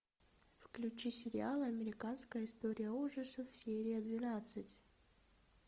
включи сериал американская история ужасов серия двенадцать